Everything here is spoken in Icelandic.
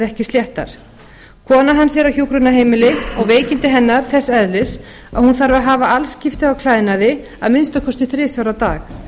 ekki sléttar kona hans er á hjúkrunarheimili og veikindi hennar þess eðlis að hún þarf að hafa alskipti á klæðnaði að minnsta kosti þrisvar á dag